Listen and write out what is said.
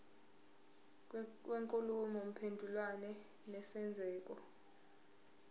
kwenkulumo mpendulwano nesenzeko